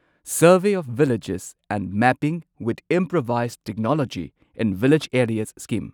survey of villages and mapping with improvised technology in village areas scheme